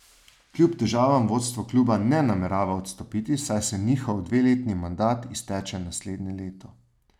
Kljub težavam vodstvo kluba ne namerava odstopiti, saj se njihov dveletni mandat izteče naslednje leto.